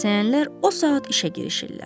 Kəsəyənlər o saat işə girişirlər.